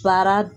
Baara